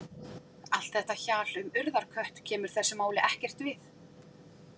Allt þetta hjal um Urðarkött kemur þessu máli ekkert við.